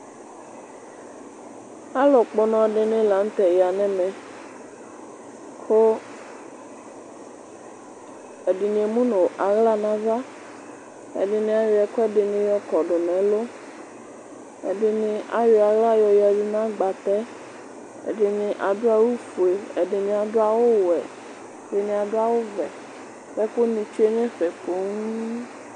Alʋkpɔ ɔnɔ lanʋtɛ yanʋ ɛmɛ kʋ ɛdini emʋ nʋ aɣla nʋ ava ɛdini ayɔ ɛkʋɛdini yɔkɔdʋ nʋ ɛlʋ ɛdini ayɔ aɣla yɔyadʋ nʋ agnatɛ ɛdini adʋ awʋfue ɛdini adʋ awʋwɛ ɛdini adʋ awʋvɛ kʋ ɛkʋ ni tsue nʋ ɛfɛ ni poo